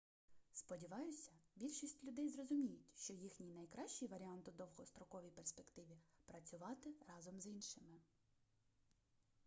сподіваюся більшість людей зрозуміють що їхній найкращий варіант у довгостроковій перспективі працювати разом з іншими